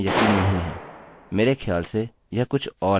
हम कुछ कोशिश करेंगे तो यह कहेगा couldnt connect